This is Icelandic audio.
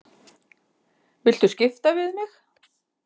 Viltu skipta við mig?